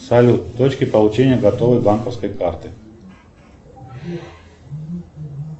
салют точки получения готовой банковской карты